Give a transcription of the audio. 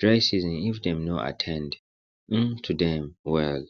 dry season if dem no at ten d um to dem well